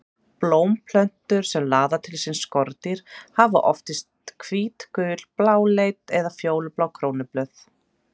Blómplöntur sem laða til sín skordýr hafa oftast hvít, gul, bláleit eða fjólublá krónublöð.